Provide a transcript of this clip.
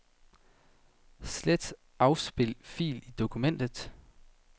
Slet afspil fil i dokumentet.